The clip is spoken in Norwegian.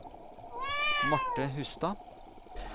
Marthe Hustad